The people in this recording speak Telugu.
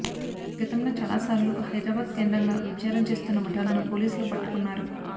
గతంలో చాలా సార్లు హైదరాబాద్ కేంద్రంగా వ్యభిచారం చేస్తున్న ముఠాలను పోలీసులు పట్టుకున్నారు